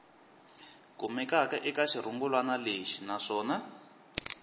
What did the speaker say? kumekaka eka xirungulwana lexi naswona